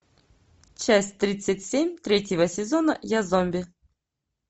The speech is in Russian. часть тридцать семь третьего сезона я зомби